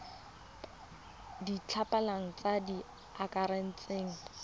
di batlegang tse di akaretsang